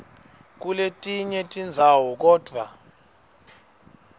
kuletinye tindzawo kodvwa